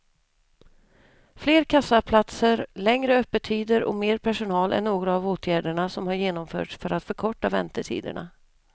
Fler kassaplatser, längre öppettider och mer personal är några av åtgärderna som har genomförts för att förkorta väntetiderna.